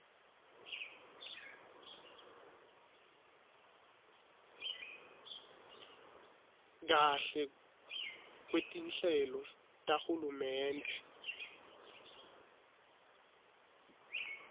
kahle kwetinhlelo tahulumende